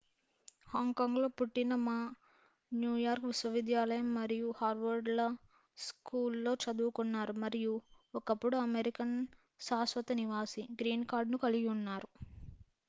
"హాంకాంగ్‌లో పుట్టిన మా న్యూయార్క్ విశ్వవిద్యాలయం మరియు హార్వర్డ్ లా స్కూల్‌లో చదువుకున్నారు మరియు ఒకప్పుడు అమెరికన్ శాశ్వత నివాసి "గ్రీన్ కార్డ్" ను కలిగి ఉన్నారు.